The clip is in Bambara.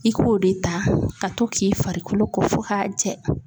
I k'o de ta ka to k'i farikolo ko fo k'a jɛ